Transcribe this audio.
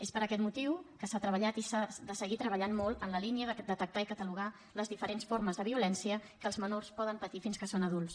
és per aquest motiu que s’ha treballat i que s’ha de seguir treballant molt en la línia de detectar i catalogar les diferents formes de violència que els menors poden patir fins que són adults